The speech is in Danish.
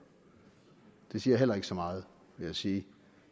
det siger heller ikke så meget vil jeg sige